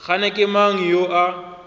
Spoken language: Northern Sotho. kgane ke mang yo a